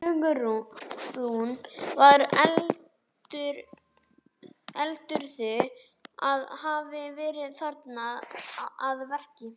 Hugrún: Hver heldurðu að hafi verið þarna að verki?